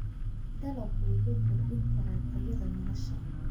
Dalaggu wuxuu kordhin karaa tayada nolosha.